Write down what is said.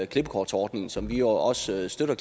klippekortsordningen som vi også støtter